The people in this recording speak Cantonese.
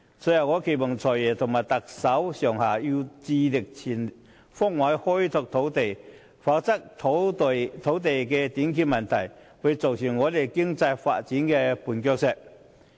最後，我期望"財爺"、特首及政府上下，致力全方位開拓土地，以免土地短缺問題成為我們經濟發展的絆腳石。